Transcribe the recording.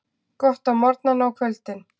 Gott á morgnana og kvöldin.